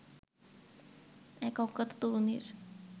এক অজ্ঞাত তরুণীর